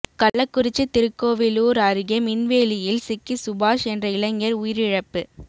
கள்ளக்குறிச்சி திருக்கோவிலூர் அருகே மின்வேலியில் சிக்கி சுபாஷ் என்ற இளைஞர் உயிரிழப்பு